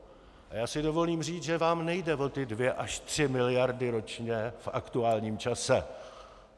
A já si dovolím říct, že vám nejde o ty dvě až tři miliardy ročně v aktuálním čase.